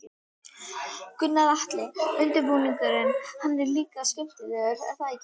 Gunnar Atli: Undirbúningurinn, hann er líka skemmtilegur er það ekki?